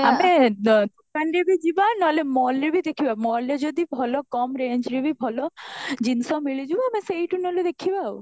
ଆମେ କୁ ଯିବା ନହେଲେ mall ରେ ବି ଦେଖିବା mall ରେ ଯଦି ଭଲ କମ range ରେ ବି ଭଲ ଜିନିଷ ମିଳିଯିବ ଆମେ ସେଈଠୁ ନହେଲେ ଦେଖିବା ଆଉ